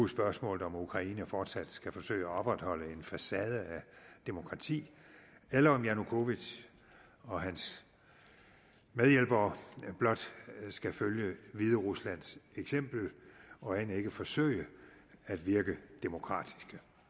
spørgsmålet om ukraine fortsat skal forsøge at opretholde en facade af demokrati eller om janukovitj og hans medhjælpere blot skal følge hvideruslands eksempel og end ikke forsøge at virke demokratiske